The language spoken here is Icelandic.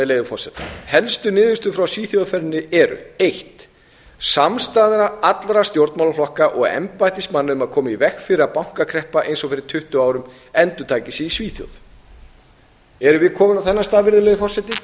leyfi forseta helstu niðurstöður frá svíþjóðarferðinni eru fyrstu samstaða allra stjórnmálaflokka og embættismanna um að koma í veg fyrir að bankakreppa eins og fyrir tuttugu árum endurtæki sig í svíþjóð erum við komin á þennan stað virðulegi forseti nei